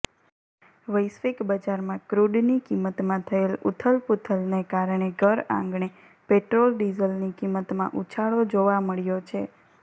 વૈશ્વિક બજારમાં ક્રૂડની કિંમતમાં થયેલ ઉથલપૂથલને કારણે ઘરઆંગણે પેટ્રોલ ડીઝલની કિંમતમાં ઉછાળો જોવા મળ્યો છે